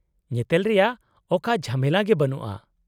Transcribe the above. -ᱧᱮᱛᱮᱞ ᱨᱮᱭᱟᱜ ᱚᱠᱟ ᱡᱷᱟᱢᱮᱞᱟ ᱜᱮ ᱵᱟᱹᱱᱩᱜᱼᱟ ᱾